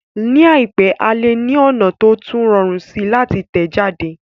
Ní àìpẹ́, a lè ní ọ̀nà tó tún rọrùn síi láti tẹ̀ jáde